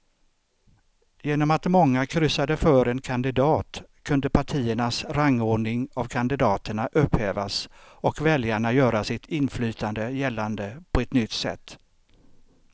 Genom att många kryssade för en kandidat kunde partiernas rangordning av kandidaterna upphävas och väljarna göra sitt inflytande gällande på ett nytt sätt.